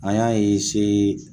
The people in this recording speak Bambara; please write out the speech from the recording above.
An y'a